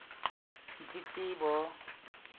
ditletlebo